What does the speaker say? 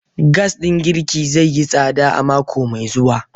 Gas din girki zai yi tsada a mako mai zuwa.